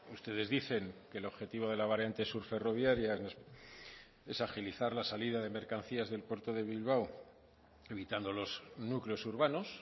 ustedes dicen que el objetivo de la variante sur ferroviaria es agilizar la salida de mercancías del puerto de bilbao evitando los núcleos urbanos